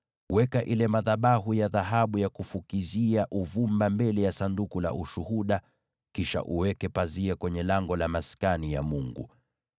Weka madhabahu ya dhahabu ya kufukizia uvumba mbele ya Sanduku la Ushuhuda kisha uweke pazia kwenye lango la Maskani ya Mungu.